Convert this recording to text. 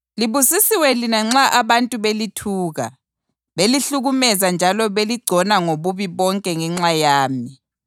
Libusisiwe lina nxa abantu belithuka, belihlukumeza njalo beligcona ngobubi bonke ngenxa yami.